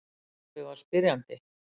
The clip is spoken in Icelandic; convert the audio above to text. Pabbi var spyrjandi.